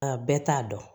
A bɛɛ t'a dɔn